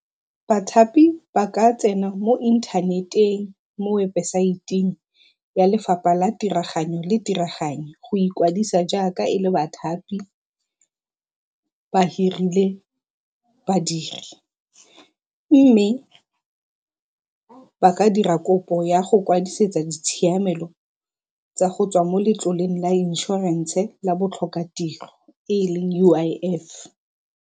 Bathapi ba ka tsena mo inthaneteng mo webosaeteng ya lefapha la tiraganyo le tiraganyo go ikwadisa jaaka e le bathapi ba hirile badiri mme ba ka dira kopo ya go kwadisetsa ditshiamelo tsa go tswa mo letloleng la inšorense la botlhokatiro e leng U_I_F.